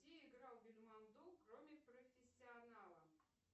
где играл бельмондо кроме профессионала